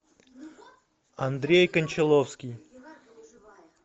андрей кончаловский